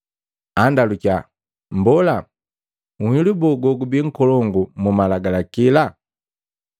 Andalukiya, “Mbola, nhilu boo gogubii nkolongu mumalagalakila?”